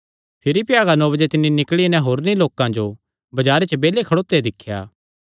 भिरी भ्यागा नौ बजे तिन्नी निकल़ी नैं होरनी लोकां जो बजारे च बेल्ले खड़ोत्यो दिख्या